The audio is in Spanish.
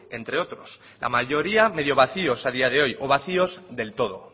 entre otros la mayoría medio vacios a día de hoy o vacios del todo